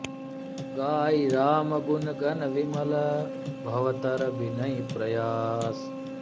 गाइ राम गुन गन बिमल भव तर बिनहिं प्रयास